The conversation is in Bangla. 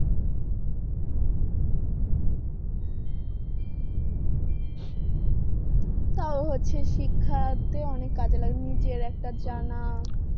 তা হচ্ছে শিক্ষাতে অনেক কাজে লাগে নিজের একটা জানা